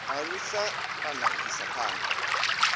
alusa kana u isa phanda